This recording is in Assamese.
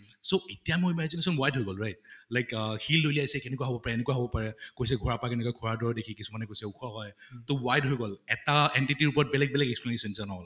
so এতিয়া মোৰ imagination wide হৈ গʼল right? like শিল দলিয়াইছে কেনেকুৱা হʼব পাৰে কৈছে দৰে দেখি কিছুমানে কৈছে ওখ হয় তʼ wide হৈ গʼল । এটা entity ৰ ওপৰত বেলেগ বেলেগ and all